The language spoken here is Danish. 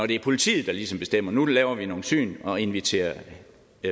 det er politiet der ligesom bestemmer nu laver vi nogle syn og inviterer